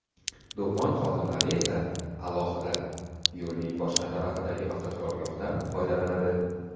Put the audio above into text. Do‘kon xodimlari esa alohida, yo‘lning boshqa tarafidagi avtoturargohdan foydalanadi.